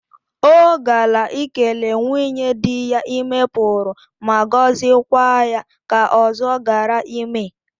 O gala ikele nwunye di ya ime Puru ma gozikwa ya ka ozo gara ime.